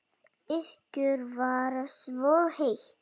Ykkur var svo heitt.